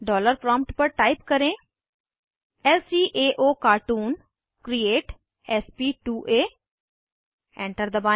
dollar prompt पर type करें ल्काओकार्टून क्रिएट sp2आ एंटर दबाएं